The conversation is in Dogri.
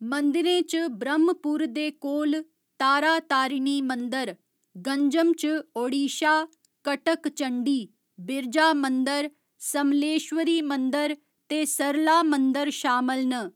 मंदिरें च ब्रह्‌मपुर दे कोल तारातारिणी मंदर, गंजम च ओडिशा, कटक चंडी, बिरजा मंदर, समलेश्वरी मंदर ते सरला मंदर शामल न।